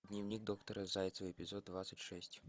дневник доктора зайцевой эпизод двадцать шесть